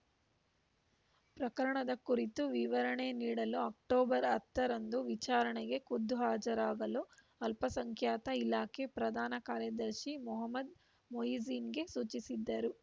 ಪ್ರಕರಣದ ಕುರಿತು ವಿವರಣೆ ನೀಡಲು ಅಕ್ಟೋಬರ್ ಹತ್ತರಂದು ವಿಚಾರಣೆಗೆ ಖುದ್ದುಹಾಜರಾಗಲು ಅಲ್ಪಸಂಖ್ಯಾತ ಇಲಾಖೆ ಪ್ರಧಾನ ಕಾರ್ಯದರ್ಶಿ ಮೊಹಮ್ಮದ್‌ ಮೊಹಿಸಿನ್‌ಗೆ ಸೂಚಿಸಿದ್ದರು